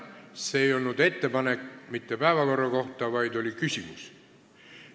See ei olnud mitte ettepanek päevakorra kohta, vaid oli küsimus.